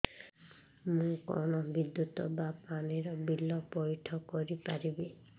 ମୁ କଣ ବିଦ୍ୟୁତ ବା ପାଣି ର ବିଲ ପଇଠ କରି ପାରିବି